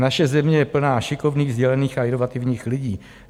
Naše země je plná šikovných, dělných a inovativních lidí.